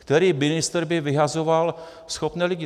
Který ministr by vyhazoval schopné lidi?